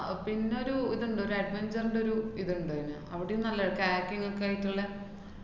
പിന്നൊരു ഇത്ണ്ട്, ഒര് adventure ന്‍റൊരു ഇത്ണ്ട്ന്. അവിടേം നല്ലതാ. chatting ങ്ങൊക്കെ ആയിട്ടുള്ള